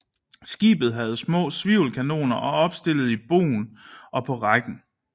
Skibet havde små svivelkanoner opstillet i bougen og på rækken